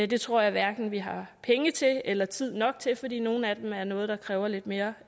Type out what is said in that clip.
det tror jeg hverken vi har penge til eller tid nok til fordi nogle af dem er noget der kræver lidt mere